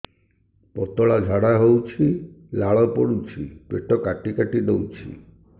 ପତଳା ଝାଡା ହଉଛି ଲାଳ ପଡୁଛି ପେଟ କାଟି କାଟି ଦଉଚି